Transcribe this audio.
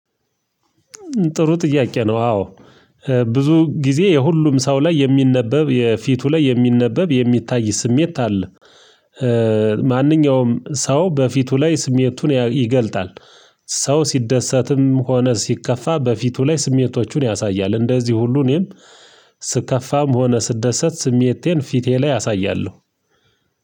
ጥሩ ጥያቄ ነው አዎ ብዙ ጊዜ የሁሉም ሰው ላይ የሚነበብ የፊቱ ላይ የሚነበብ የሚታይ ስሜት አለ። ማንኛውም ሰው በፊቱ ላይ ስሜቱን ይገልጣል። ሰው ሲደሰትም ሆነ ሲከፋ በፊቱ ላይ ስሜቶቹን ያሳያል። እንደዚህ ሁሉ እኔም ስከፋም ሆነ ስደሰት ስሜቴን ፊቴ ላይ አሳያለሁ።